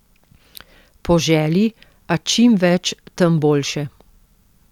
Po želji, a čim več, tem boljše.